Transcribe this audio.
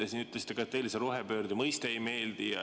Te siin ütlesite ka, et teile see rohepöörde mõiste ei meeldi.